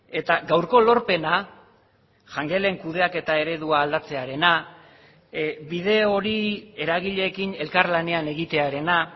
eta gaurko lorpena jangelen kudeaketa eredua aldatzearena bide hori eragileekin elkarlanean egitearena